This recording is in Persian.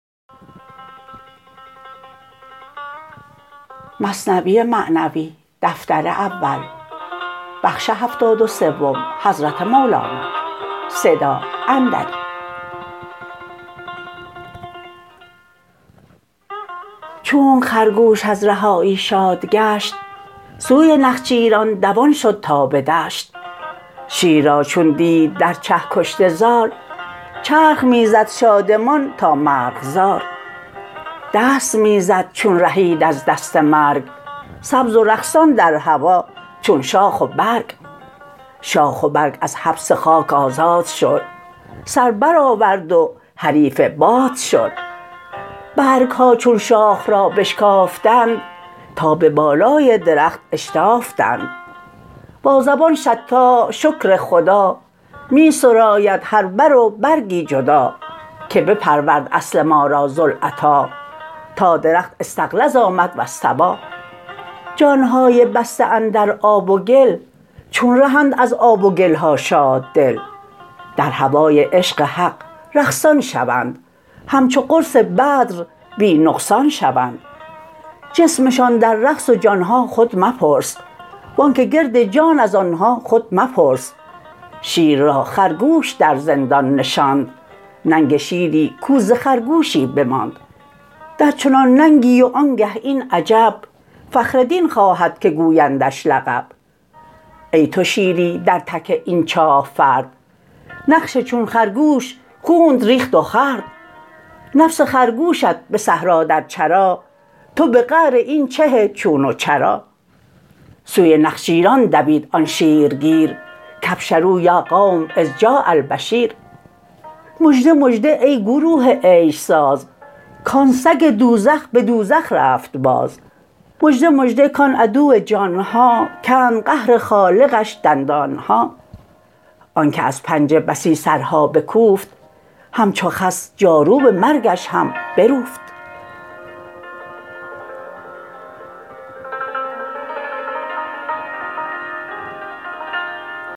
چونک خرگوش از رهایی شاد گشت سوی نخچیران دوان شد تا به دشت شیر را چون دید در چه کشته زار چرخ می زد شادمان تا مرغزار دست می زد چون رهید از دست مرگ سبز و رقصان در هوا چون شاخ و برگ شاخ و برگ از حبس خاک آزاد شد سر برآورد و حریف باد شد برگها چون شاخ را بشکافتند تا به بالای درخت اشتافتند با زبان شطاح شکر خدا می سراید هر بر و برگی جدا که بپرورد اصل ما را ذوالعطا تا درخت فاستغلظ آمد فاستوی جانهای بسته اندر آب و گل چون رهند از آب و گلها شاددل در هوای عشق حق رقصان شوند همچو قرص بدر بی نقصان شوند جسمشان در رقص و جانها خود مپرس وانک گرد جان از آنها خود مپرس شیر را خرگوش در زندان نشاند ننگ شیری کو ز خرگوشی بماند درچنان ننگی و آنگه این عجب فخر دین خواهد که گویندش لقب ای تو شیری در تک این چاه فرد نفس چون خرگوش خونت ریخت و خورد نفس خرگوشت به صحرا در چرا تو به قعر این چه چون و چرا سوی نخچیران دوید آن شیرگیر کأبشروا یا قوم إذ جاء البشیر مژده مژده ای گروه عیش ساز کان سگ دوزخ به دوزخ رفت باز مژده مژده کان عدو جانها کند قهر خالقش دندانها آنک از پنجه بسی سرها بکوفت همچو خس جاروب مرگش هم بروفت